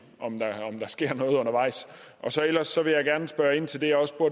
om der sker noget undervejs ellers vil jeg gerne spørge ind til det jeg også